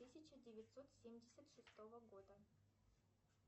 тысяча девятьсот семьдесят шестого года